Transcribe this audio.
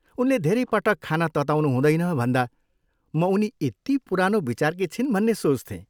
उनले धेरै पटक खाना तताउनु हुँदैन भन्दा म उनी यति पुरानो विचारकी छिन् भन्ने सोच्थेँ।